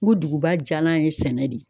N ko duguba diyalan ye sɛnɛ de ye